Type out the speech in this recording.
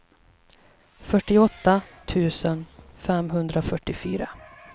fyrtioåtta tusen femhundrafyrtiofyra